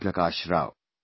Prakash Rao